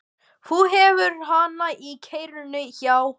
Þú hefur hann í kerrunni, já.